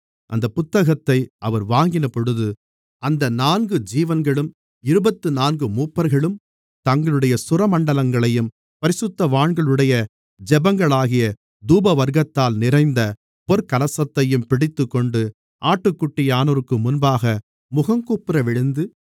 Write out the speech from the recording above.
அந்தப் புத்தகத்தை அவர் வாங்கினபோது அந்த நான்கு ஜீவன்களும் இருபத்துநான்கு மூப்பர்களும் தங்களுடைய சுரமண்டலங்களையும் பரிசுத்தவான்களுடைய ஜெபங்களாகிய தூபவர்க்கத்தால் நிறைந்த பொற்கலசங்களையும் பிடித்துக்கொண்டு ஆட்டுக்குட்டியானவருக்கு முன்பாக முகங்குப்புறவிழுந்து